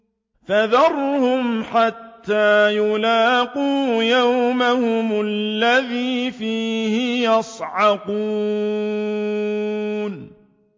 فَذَرْهُمْ حَتَّىٰ يُلَاقُوا يَوْمَهُمُ الَّذِي فِيهِ يُصْعَقُونَ